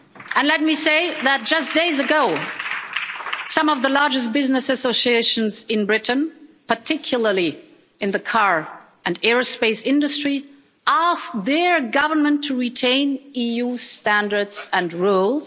And let me say that, just days ago, some of the largest business associations in Britain particularly in the car and aerospace industry asked their government to retain EU standards and rules.